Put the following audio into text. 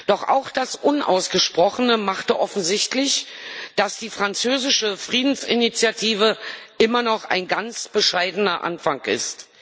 Doch auch das Unausgesprochene machte offensichtlich, dass die französische Friedensinitiative immer noch ein ganz bescheidener Anfang ist.